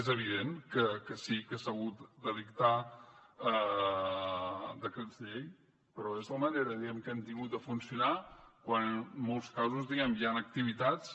és evident que sí que s’ha hagut de dictar decrets llei però és la manera diguem ne que hem tingut de funcionar quan en molts casos hi han activitats